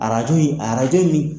Arajo ye arajo nin.